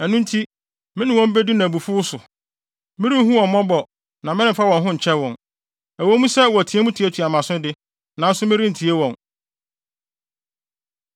Ɛno nti, me ne wɔn bedi no abufuw so. Merenhu wɔn mmɔbɔ na meremfa wɔn ho nkyɛ wɔn. Ɛwɔ mu sɛ, wɔteɛ mu tuatua mʼaso de, nanso merentie wɔn.”